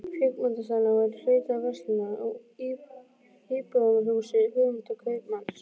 Kvikmyndasalurinn var í hluta af verslunar- og íbúðarhúsi Guðmundar kaupmanns.